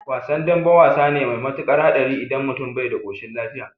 Wasan dambe wasa ne mai matukar hatsari idan mutum bai da koshin lafiya